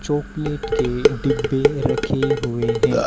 Chocolate के डब्बे रखे हुए हैं।